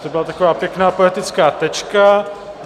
To byla taková pěkná poetická tečka.